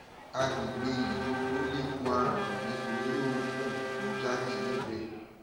àgbègbè ìdodo lè kó àrùn nítorí òógùn tó ń jáde níbẹ